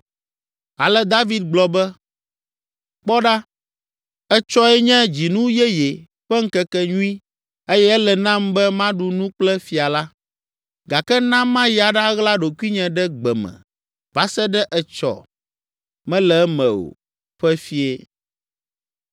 Ale David gblɔ be, “Kpɔ ɖa, etsɔe nye dzinu yeye ƒe ŋkekenyui eye ele nam be maɖu nu kple fia la, gake na mayi aɖaɣla ɖokuinye ɖe gbe me va se ɖe etsɔ mele eme o ƒe fiẽ.